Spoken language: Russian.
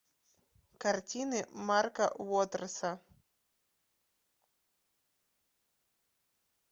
картины марка уотерса